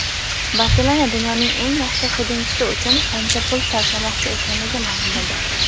"Barselona" dunyoning eng yaxshi hujumchisi uchun qancha pul sarflamoqchi ekanligi ma’lum bo‘ldi;.